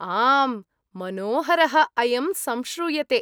आम्! मनोहरः अयं संश्रूयते!